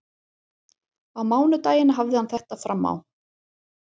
Á mánudaginn hafði hann þetta fram á.